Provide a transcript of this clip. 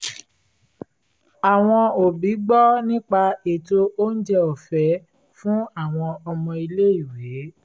àwọn òbí gbọ́ nípa ètò oúnjẹ ọ̀fẹ́ fún àwọn ọmọ ilé-ìwé